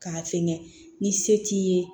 K'a fɛngɛ ni se t'i ye